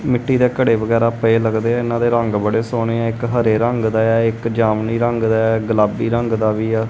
ਮਿੱਟੀ ਦੇ ਘੜੇ ਵਗੈਰਾ ਪਏ ਲੱਗਦੇ ਇਹਨਾਂ ਦੇ ਰੰਗ ਬੜੇ ਸੋਹਣੇ ਆ ਇੱਕ ਹਰੇ ਰੰਗ ਦਾ ਏ ਆ ਇੱਕ ਜਾਮਨੀ ਰੰਗ ਦਾ ਐ ਗੁਲਾਬੀ ਰੰਗ ਦਾ ਵੀ ਐ।